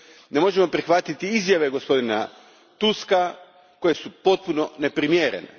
Ne možemo prihvatiti izjave gospodina Tuska koje su potpuno neprimjerene.